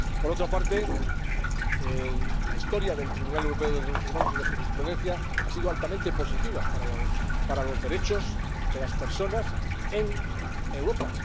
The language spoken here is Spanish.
Por otra parte, la historia del Tribunal Europeo de Derechos Humanos y de su jurisprudencia ha sido altamente positiva para los derechos de las personas en Europa.